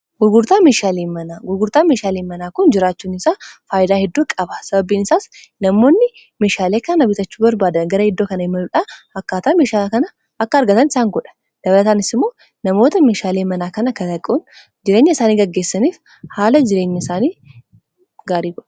Gurgurtaa meeshaalee manaa kun jiraachuun isaa faayidaa hedduu qaba. sababbiin isaas namoonni meeshaalee kana bitachuu barbaada gara hedduu kana imaluudhaa akkaataa meeshaalee kana akka argatan isaan godha .dabalataanis immoo namoota meeshaalii manaa kana kalaquun jireenya isaanii gaggeessaniif haala jireenya isaanii gaariidha.